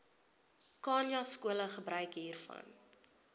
khanyaskole gebruik hiervan